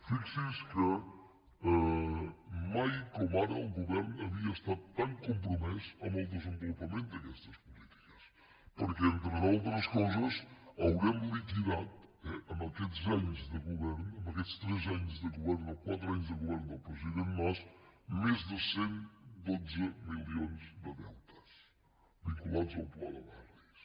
fixi’s que mai com ara el govern havia estat tan compromès amb el desenvolupament d’aquestes polítiques perquè entre d’altres coses haurem liquidat en aquests anys de govern en aquests tres anys de govern o quatre anys de govern del president mas més de cent i dotze milions de deutes vinculats al pla de barris